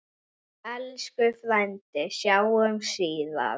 Elsku frændi, sjáumst síðar.